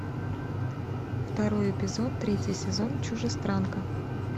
второй эпизод третий сезон чужестранка